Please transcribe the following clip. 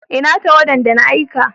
Ina tawada da na aika?